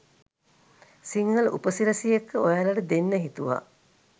සිංහල උපසිරැසි එක්ක ඔයාලට දෙන්න හිතුවා.